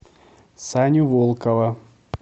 саню волкова